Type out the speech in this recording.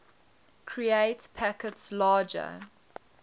create packets larger